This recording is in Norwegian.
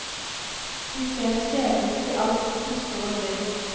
De ser skjebnen til alt som puster og lever.